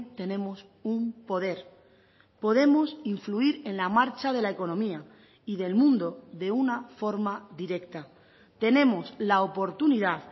tenemos un poder podemos influir en la marcha de la economía y del mundo de una forma directa tenemos la oportunidad